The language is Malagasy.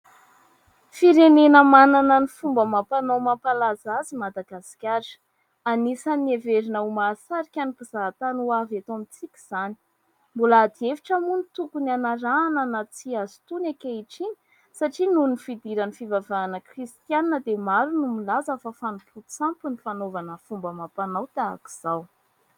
Firenena manana ny fomba amam-panao mampalaza azy i Madagasikara. Anisan'ny heverina ho mahasarika ny mpizahatany ho avy eto amintsika izany. Mbola ady hevitra moa ny tokony anarahana na tsia azy itony ankehitriny satria noho ny fidiran'ny fivavahana kristianina dia maro no milaza fa fanompoan-tsampy ny fanaovana ny fomba amam-panao tahaka izao.